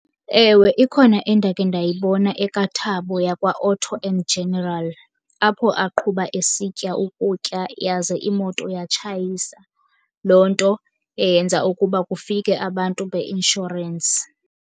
Ewe, ikhona endakhe ndayibona ekaThabo yakwaAuto and General, apho aqhuba esitya ukutya yaze imoto yatshayisa. Loo nto eyenza ukuba kufike abantu beinshorensi.